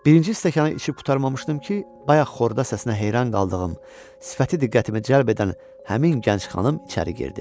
Birinci stəkanı içib qurtarmamışdım ki, bayaq xorda səsinə heyran qaldığım, sifəti diqqətimi cəlb edən həmin gənc xanım içəri girdi.